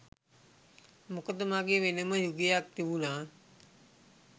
මොකද මගේ වෙනම යුගයක් තිබුණා.